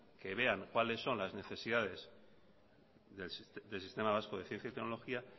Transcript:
que vean cuáles son las necesidades del sistema vasco de ciencia y tecnología